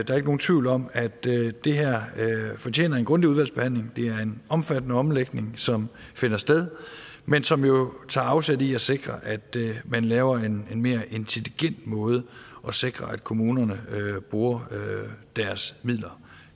er ikke nogen tvivl om at det her fortjener en grundig udvalgsbehandling det er en omfattende omlægning som finder sted men som jo tager afsæt i at sikre at man laver en mere intelligent måde at sikre at kommunerne bruger deres midler